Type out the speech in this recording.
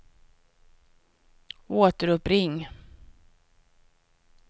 återuppring